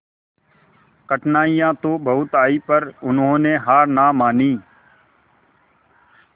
कठिनाइयां तो बहुत आई पर उन्होंने हार ना मानी